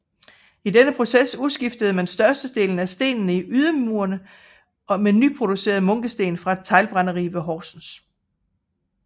I denne proces udskiftede man størstedelen af stenene i ydermurene med nyproducerede munkesten fra et teglbrænderi ved Horsens